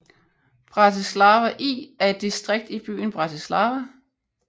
Bratislava I er et distrikt i byen Bratislava